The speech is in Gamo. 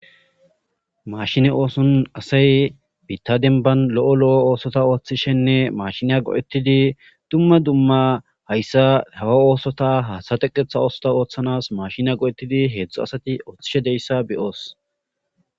mashine ooson asay bitta denban lo7o lo7o oosota ooththishenne mashiniya go7ettidi dumma dumma hayssa hawa oosota hatateqetha oosota ooththanas mashina go7ettidi heedzdzu asati ooththishe deyssa beyoos